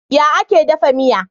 Ya ake dafa miya?